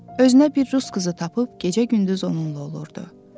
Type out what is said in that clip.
Özünə bir rus qızı tapıb gecə-gündüz onunla olurdu.